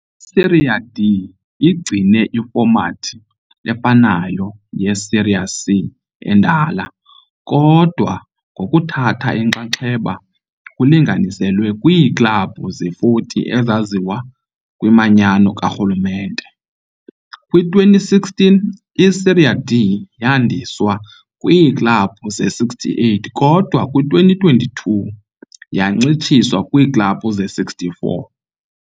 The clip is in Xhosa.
I-Série D igcine ifomathi efanayo ye-Série C endala, kodwa ngokuthatha inxaxheba kulinganiselwe kwiiklabhu ze-40 ezaziwa kwimanyano karhulumente. Kwi-2016 i-Série D yandiswa kwiiklabhu ze-68, kodwa kwi-2022 yancitshiswa kwiiklabhu ze-64.